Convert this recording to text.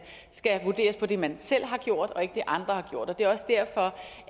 skal vurderes på det man selv har gjort og ikke på det andre har gjort det er også derfor